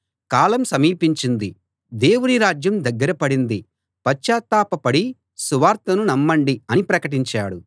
కాలం సమీపించింది దేవుని రాజ్యం దగ్గర పడింది పశ్చాత్తాపపడి సువార్తను నమ్మండి అని ప్రకటించాడు